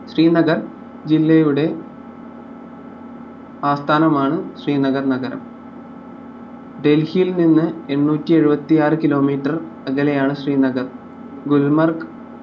ശ്രീനഗർ ജില്ലയുടെ ആസ്ഥാനമാണ് ശ്രീനഗർ നഗരം ഡെൽഹിയിൽ നിന്ന് എണ്ണൂറ്റി എഴുതിയാറ് kilometre അകലെയാണ് ശ്രീനഗർ ഗുൽമർഗ്